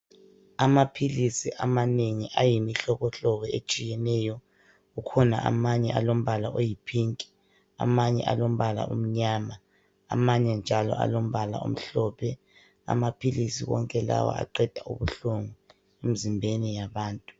Amaphilisi amanengi ayimihlobohlobo etshiyeneyo. Kukhona amanye alombala oyipink, amanye alombala omnyama, amanye njalo alombala omhlophe. Amaphilisi onke lawa aqeda ubuhlungu emizimbeni yabantu.